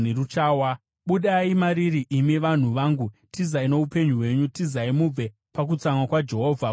“Budai mariri, imi vanhu vangu! Tizai kuti muponese upenyu hwenyu! Tizai mubve pakutsamwa kunotyisa kwaJehovha.